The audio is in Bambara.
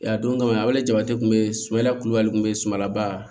A don kama a bɛle jaba kun bɛ ye sɛnɛ kulubali kun bɛ sumala ba